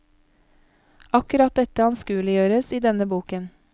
Akkurat dette anskueliggjøres i denne boken.